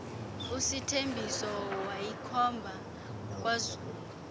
usithembiso bayikhomba kwazulu